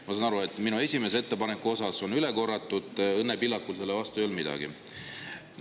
Ma saan aru, et minu esimese ettepaneku kohta on üle korratud, et Õnne Pillakul selle vastu ei olnud midagi.